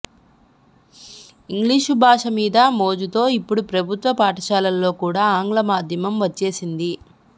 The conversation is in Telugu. ఇంగ్లీషు భాష మీద మోజుతో ఇప్పుడు ప్రభుత్వ పాఠశాలల్లో కూడా ఆంగ్ల మాధ్యమం వచ్చేసింది